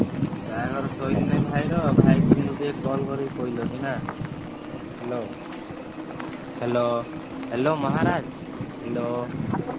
ବାହାଘର ସରିଲାଣି ଭାଇର ଭାଇକୁ କିନ୍ତୁ ଟିକେ call କରି କହିଲନି ନା hello hello, hello ମହାରାଜ hello